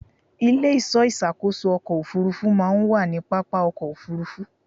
Ilé-ìṣọ́ ìṣàkóso ọkọ̀ Òfurufú máa ń wà ní pápá ọkọ̀ Òfurufú.